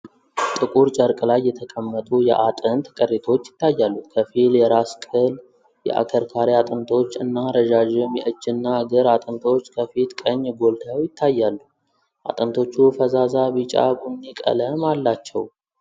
ጥቁር ጨርቅ ላይ የተቀመጡ የአጥንት ቅሪቶች ይታያሉ። ከፊል የራስ ቅል፣ የአከርካሪ አጥንቶች እና ረዣዥም የእጅና እግር አጥንቶች ከፊት ቀኝ ጎልተው ይታያሉ። አጥንቶቹ ፈዛዛ ቢጫ ቡኒ ቀለም አላቸው።